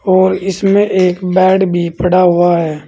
और इसमें एक बेड भी पड़ा हुआ है।